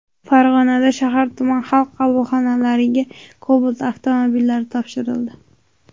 Farg‘onada shahar-tuman Xalq qabulxonalariga Cobalt avtomobillari topshirildi .